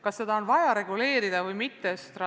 Kas seda on vaja reguleerida või mitte?